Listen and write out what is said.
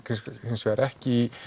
hins vegar ekki í